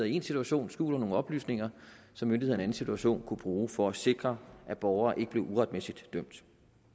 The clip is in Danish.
i én situation skjuler nogle oplysninger som myndighederne i en anden situation kunne bruge for at sikre at borgere ikke bliver uretmæssigt dømt